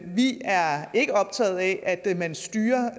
vi er ikke optaget af at man styrer